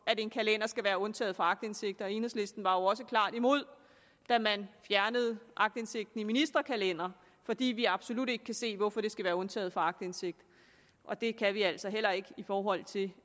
en kalender skal være undtaget fra aktindsigt enhedslisten var jo også klart imod da man fjernede aktindsigten i ministerkalendere fordi vi absolut ikke kan se hvorfor de skal være undtaget fra aktindsigt og det kan vi altså heller ikke i forhold til